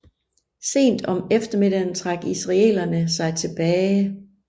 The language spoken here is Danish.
Sent om eftermiddagen trak israelerne sig tilbage